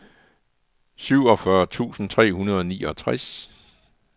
syvogfyrre tusind tre hundrede og niogtres